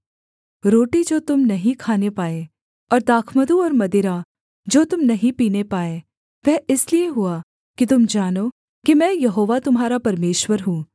रोटी जो तुम नहीं खाने पाए और दाखमधु और मदिरा जो तुम नहीं पीने पाए वह इसलिए हुआ कि तुम जानो कि मैं यहोवा तुम्हारा परमेश्वर हूँ